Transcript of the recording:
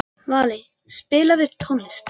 Valey, spilaðu tónlist.